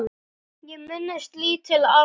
Ég minnist lítils atviks.